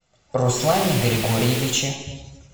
руслане григорьевиче